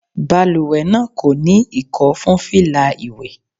Balùwẹ̀ náà kò ní Ìkọ́ fún fìlà ìwé.